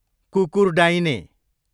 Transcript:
कुकुरडाइने